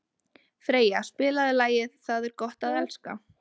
Freyja, spilaðu lagið „Það er gott að elska“.